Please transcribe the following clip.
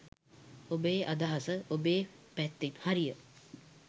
ඔබේ අදහස ඔබේ පැත්තෙන් හරිය